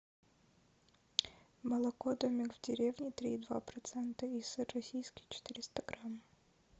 молоко домик в деревне три и два процента и сыр российский четыреста грамм